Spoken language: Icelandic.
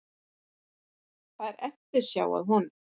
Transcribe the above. Það er eftirsjá að honum